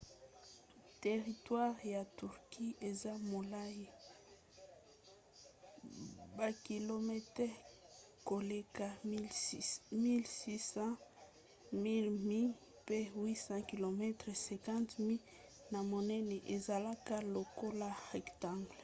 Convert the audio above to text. teritware ya turquie eza molai bakilometele koleka 1 600 1 000 mi pe 800 km 500 mi na monene ezalaka lokola rectangle